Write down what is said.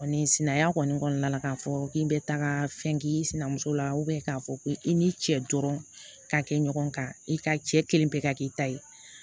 Sinanya kɔni kɔnɔna la k'a fɔ k'i bɛ taaga fɛn k'i sina muso la k'a fɔ ko i n'i cɛ dɔrɔn ka kɛ ɲɔgɔn kan i ka cɛ kelen bɛɛ ka k'i ta ye